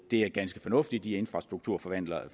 det er ganske fornuftige infrastrukturforvaltere